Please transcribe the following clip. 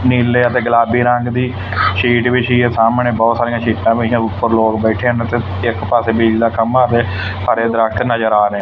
ਨੀਲੇ ਅਤੇ ਗੁਲਾਬੀ ਰੰਗ ਦੀ ਸ਼ੀਟ ਵਿਛੀ ਹੈ ਸਾਹਮਣੇ ਬਹੁਤ ਸਾਰੀਆਂ ਸ਼ੀਟਾਂ ਪਈਆਂ ਉੱਪਰ ਲੋਕ ਬੈਠੇ ਹਨ ਤੇ ਇੱਕ ਪਾਸੇ ਬਿਜਲੀ ਦਾ ਖੰਭਾ ਤੇ ਹਰੇ ਦਰੱਖਤ ਨਜ਼ਰ ਆ ਰਹੇ--